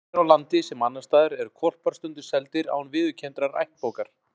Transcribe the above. Hér á landi, sem annars staðar, eru hvolpar stundum seldir án viðurkenndrar ættbókar.